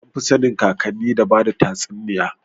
Anfi sanin kakanni da bada tatsuniya